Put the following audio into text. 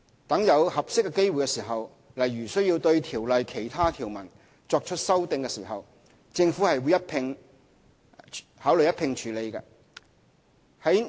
待有合適機會時，例如需要對《條例》的其他條文作出修訂，政府會考慮一併處理。